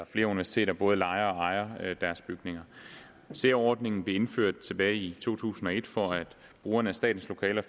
flere universiteter både lejer og ejer deres bygninger særordningen blev indført tilbage i to tusind og et for at brugerne af statens lokaler